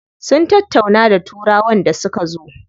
Sun tattauna da turawan da suka zo.